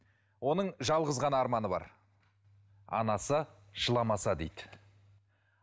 оның жалғыз ғана арманы бар анасы жыламаса дейді